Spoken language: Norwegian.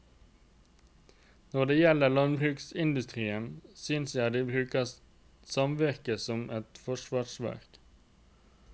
Når det gjelder landbruksindustrien, synes jeg de bruker samvirke som et forsvarsverk.